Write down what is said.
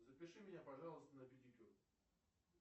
запиши меня пожалуйста на педикюр